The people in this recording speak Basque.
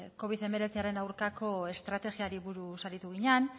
covid hemeretziaren aurkako estrategiari buruz aritu ginen